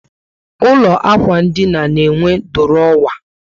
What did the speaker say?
Ụlọ ikwụ ndina na enwe durowa